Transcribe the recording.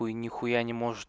нехуя не